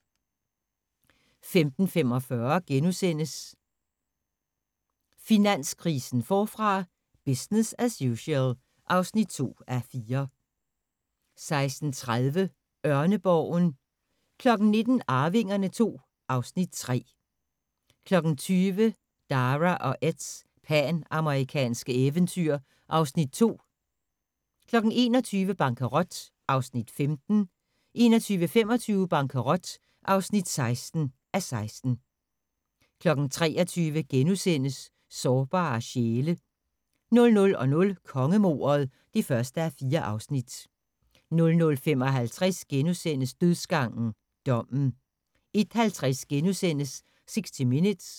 15:45: Finanskrisen forfra – business as usual (2:4)* 16:30: Ørneborgen 19:00: Arvingerne II (Afs. 3) 20:00: Dara og Eds panamerikanske eventyr (Afs. 2) 21:00: Bankerot (15:16) 21:25: Bankerot (16:16) 23:00: Sårbare sjæle * 00:00: Kongemordet (1:4) 00:55: Dødsgangen – Dommen * 01:50: 60 Minutes *